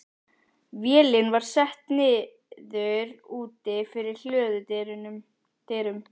Vélin var sett niður úti fyrir hlöðudyrum.